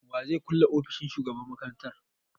Wa zai kulle ofishin shugaban makaranta?